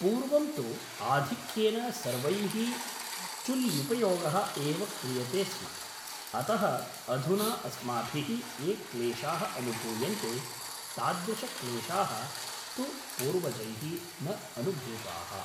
पूर्वं तु आधिक्येन सर्वैः चुल्ल्युपयोगः एव क्रियते स्म अतः अधुना अस्माभिः ये क्लेशाः अनुभूयन्ते तादृशक्लेशाः तु पूर्वजैः न अनुभूताः